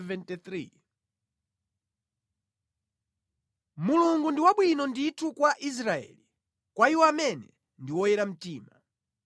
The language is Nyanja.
Mulungu ndi wabwino ndithu kwa Israeli, kwa iwo amene ndi oyera mtima.